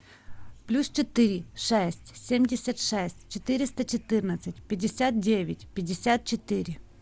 плюс четыре шесть семьдесят шесть четыреста четырнадцать пятьдесят девять пятьдесят четыре